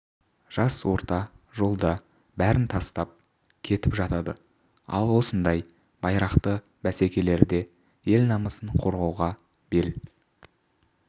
жас орта жолда бәрін тастап кетіп жатады ал осындай байрақты бәсекелерде ел намысын қорғауға бел